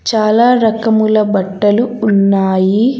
చాలా రకముల బట్టలు ఉన్నాయి.